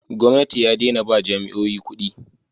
gwamnati ya dena ba jami'oyi kudi